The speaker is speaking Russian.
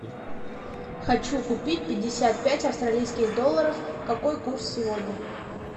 хочу купить пятьдесят пять австралийских долларов какой курс сегодня